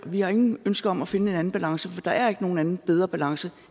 vi har intet ønske om at finde en anden balance for der er ikke nogen anden bedre balance